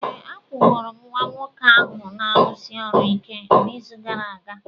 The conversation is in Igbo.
Ee, akwụgoro m nwa nwoke ahụ na-arụsi ọrụ ike n'izu gara aga.